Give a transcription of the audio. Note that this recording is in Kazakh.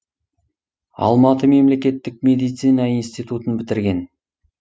алматы мемлекеттік медицина институтын бітірген